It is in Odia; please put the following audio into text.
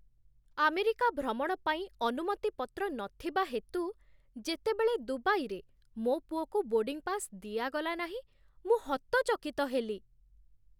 ଆମେରିକା ଭ୍ରମଣ ପାଇଁ ଅନୁମତିପତ୍ର ନଥିବା ହେତୁ, ଯେତେବେଳେ ଦୁବାଇରେ ମୋ ପୁଅକୁ ବୋର୍ଡ଼ିଙ୍ଗ୍ ପାସ୍ ଦିଆଗଲା ନାହିଁ, ମୁଁ ହତଚକିତ ହେଲି।